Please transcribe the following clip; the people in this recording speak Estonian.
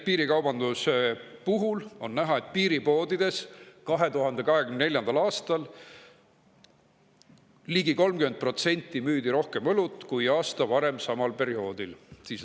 Piirikaubanduse puhul on näha, et piiripoodides müüdi 2024. aastal ligi 30% rohkem õlut kui aasta varem samal perioodil.